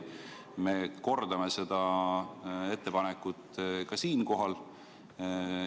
Me kordame seda ettepanekut ka siinkohal.